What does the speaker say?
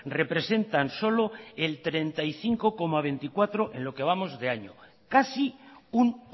representan solo el treinta y cinco coma veinticuatro en lo que vamos de año casi un